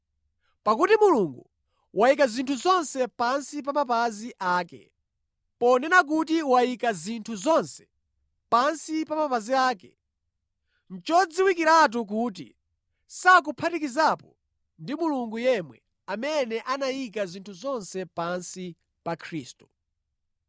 Pakuti Mulungu “wayika zinthu zonse pansi pa mapazi ake.” Ponena kuti wayika “zinthu zonse pansi pa mapazi ake,” nʼchodziwikiratu kuti sakuphatikizapo ndi Mulungu yemwe, amene anayika zinthu zonse pansi pa Khristu.